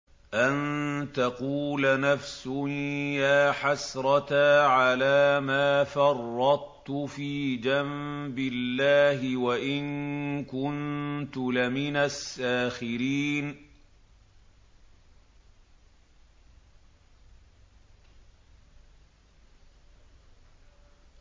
أَن تَقُولَ نَفْسٌ يَا حَسْرَتَا عَلَىٰ مَا فَرَّطتُ فِي جَنبِ اللَّهِ وَإِن كُنتُ لَمِنَ السَّاخِرِينَ